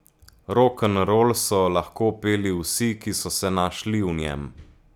Rokenrol so lahko peli vsi, ki so se našli v njem.